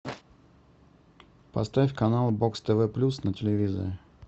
поставь канал бокс тв плюс на телевизоре